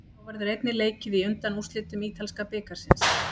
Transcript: Þá verður einnig leikið í undanúrslitum ítalska bikarsins.